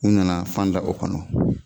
U nana fan da o kɔnɔ